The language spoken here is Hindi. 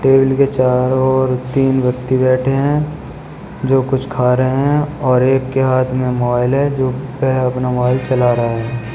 टेबिल के चारों ओर तीन व्यक्ति बैठे हैं जो कुछ खा रहे हैं और एक के हाथ में मोबाइल है जो वह अपना मोबाइल चला रहा है।